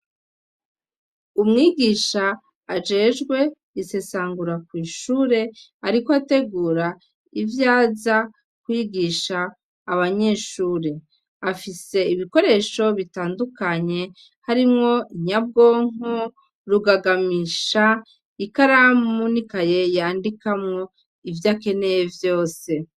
Umwigisha ajejwe isesangura kw'ishure, ariko ategura ivyaza kwigisha abanyeshure, afise ibikoresho bitandukanye, harimwo inyabwonko, rugagamisha, ikaramu n'ikaye yandikamwo ivyo akeneye vyose.